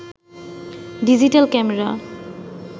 digital camera